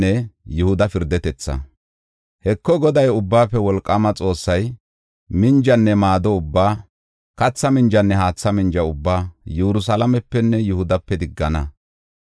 Heko, Goday, Ubbaafe Wolqaama Xoossay, minjanne maado ubbaa, katha minjanne haatha minja ubbaa Yerusalaamepenne Yihudape diggana.